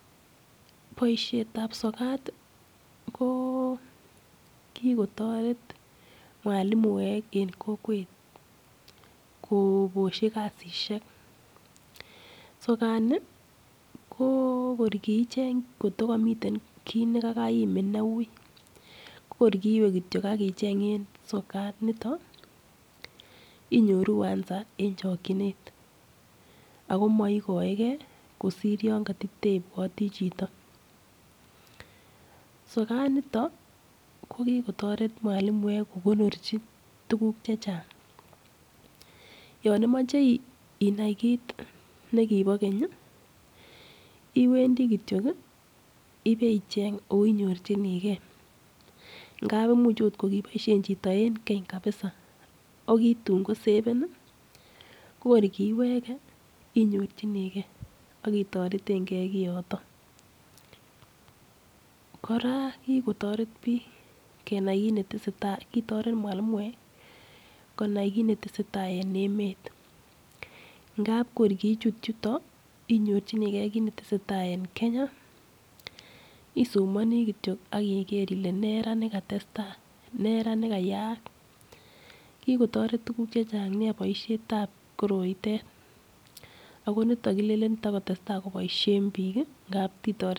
Boishetab sokat ko kikotoret mwalimuek eng kokwet koboshi kasisiek. Sokani ko kor kicheny koto kamitei kit koto kaiimin neui, kor kiwe ak icheny eng sokat nitok, inyoru answer en chokchinet. Akomaigoegei kosir yon kate teibwoti chito. Sokanitok ko kikotiret mwalimiek ko konorchi tukuk chechang. Yon imache inai kit nekibo keny, iwendi kityo ibecheny ako inyorchinigei ngap imuch kokiboishe chito eng keny kabisa ako kisaven kor kiweke inyorchinigei ak itoretegei kiyotok. Kora kikotoret biik kenai kiit ne tese tai. Kikotoret mwalimoek konai kiit netese tai en emet , ngap kor ngichut yuto inai kiit netese tai eng Kenya isomani kitio kole nee ra ne katestai anan nee ra ne kayaak. Kikotoret tukuk chechang nea boushetab koroitet. Ako nitok kilenen takotestai ko boishe biik ngap kitoret.